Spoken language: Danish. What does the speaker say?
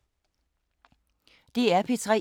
DR P3